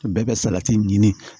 Bɛɛ bɛ salati ɲini